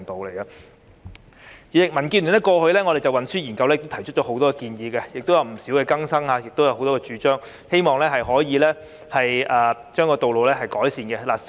代理主席，民建聯過去就運輸研究提出了很多建議，亦有不少更新，希望可以改善道路情況。